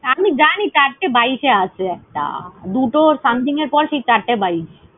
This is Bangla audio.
আমি জানি চারটে বাইশে আছে একটা। দুটো something এর পর সেই চারটে বাইশ।